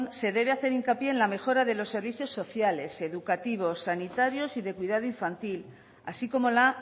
se debe hacer hincapié en la mejora de los servicios sociales educativos sanitarios y de cuidado infantil así como la